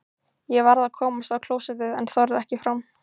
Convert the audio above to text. Ég varð að komast á klósettið en þorði ekki fram.